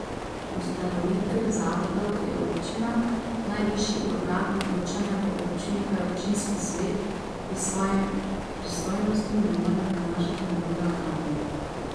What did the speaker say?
Ustanovitelj zavodov je občina, najvišji organ odločanja v občini pa je občinski svet, ki svojih pristojnosti ne more prenašati na druge organe.